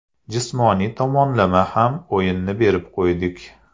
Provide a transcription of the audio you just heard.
Jismoniy tomonlama ham o‘yinni berib qo‘ydik.